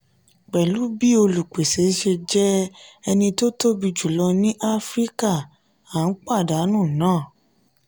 pẹ̀lú bí olùpèsè ṣe jẹ́ eni tóbi jù lọ ní africa a ń pàdánù nà.